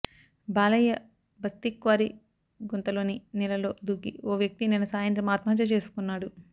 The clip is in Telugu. బాలయ్య బస్తి క్వారీ గుంతలోని నీళ్లలో దూకి ఓ వ్యక్తి నిన్న సాయంత్రం ఆత్మహత్య చేసుకున్నాడు